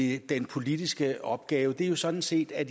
i den politiske opgave er sådan set at